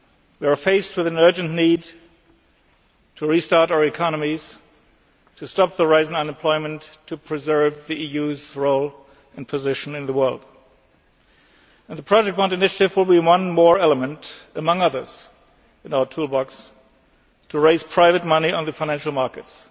We are faced with an urgent need to restart our economies, to stop the rise in unemployment, in order to preserve the EU's role and position in the world, and the project bond initiative will be one more element among others in our toolbox to raise private money on the financial markets.